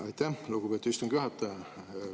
Aitäh, lugupeetud istungi juhataja!